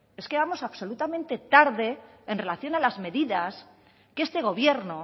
es que vamos absolutamente tarde en relación a las medidas que este gobierno